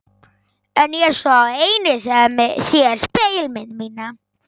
En ég er sá eini sem sér spegilmynd mína.